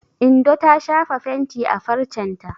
Indo ta shafa fenti a farcen ta.